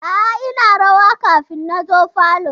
A'a ina rawa kafin na zo falo.